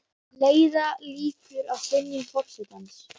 hvernig á að bregðast við þessari þversögn